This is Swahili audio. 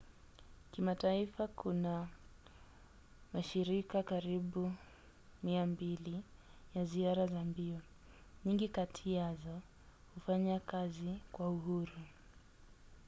kimataifa kuna mashirika karibu 200 ya ziara za mbio. nyingi kati yazo hufanya kazi kwa uhuru